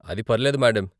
అది పర్లేదు మేడం.